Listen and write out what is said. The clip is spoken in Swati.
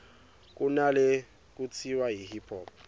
kunalekutsiwa yi hip hop